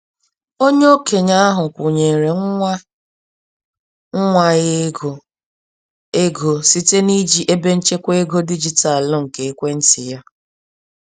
Onye okenye ahụ kwụnyeere nwa nwa ya ego, ego, site n'iji ebenchekwa ego dijitalụ nke ekwentị ya.